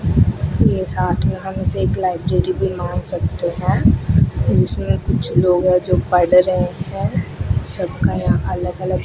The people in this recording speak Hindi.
ये साथ में हम इसे एक लाइब्रेरी भी मान सकते हैं जिसमें कुछ लोग हैं जो पढ़ रहे हैं सबका यहां अलग अलग--